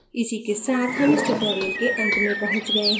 इसी के साथ हम इस tutorial के अंत में पहुँच गए हैं